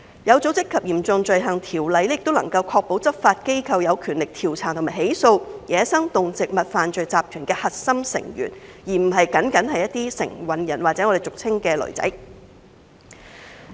《有組織及嚴重罪行條例》也能夠確保執法機構有權力調查和起訴走私野生動植物犯罪集團的核心成員，而不僅僅是承運人或俗稱的"騾仔"。